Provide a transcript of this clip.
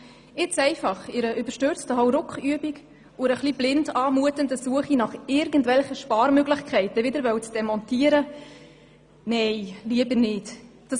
Diese nun einfach in einer überstürzten Hauruckübung und einer etwas blind anmutenden Suche nach irgendwelchen Sparmöglichkeiten wieder demontieren zu wollen, finde ich nicht richtig.